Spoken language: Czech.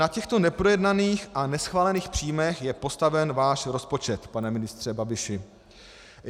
Na těchto neprojednaných a neschválených příjmech je postaven váš rozpočet, pane ministře Babiši.